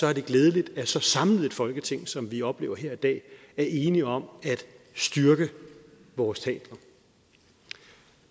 er det glædeligt at så samlet et folketing som vi oplever her i dag er enige om at styrke vores teatre